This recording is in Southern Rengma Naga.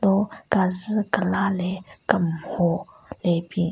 Ro kazu kelaa le kemmho le bin.